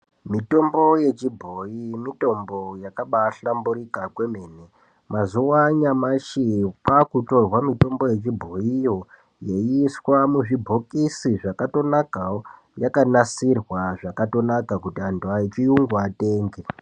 Mitombo yechibhoyi mitombo yakabahlamburika kwemene. Mazuwa anyamashi kwakutorwa mitombo yechibhoyiyo yeyi iswa muzvibhokisi zvakatonaka yakanasirwa zvakatonaka kuti vantu vechiyungu vatenge.